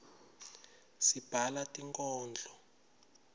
sibhala tinkhondlo